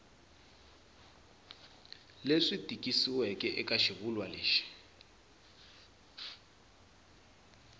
lexi tikisiweke eka xivulwa lexi